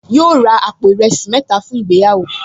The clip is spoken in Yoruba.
Yóò ra àpò ìrẹsì mẹ́ta fún ìgbéyàwó